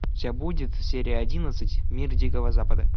у тебя будет серия одиннадцать мир дикого запада